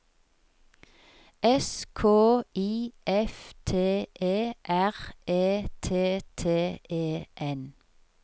S K I F T E R E T T E N